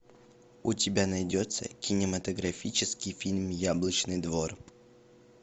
у тебя найдется кинематографический фильм яблочный двор